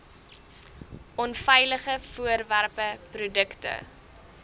onveilige voorwerpe produkte